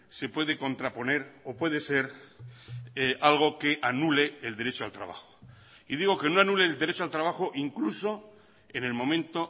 se puede contraponer o puede ser algo que anule el derecho al trabajo y digo que no anule el derecho al trabajo incluso en el momento